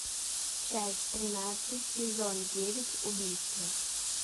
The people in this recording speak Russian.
часть тринадцать сезон девять убийство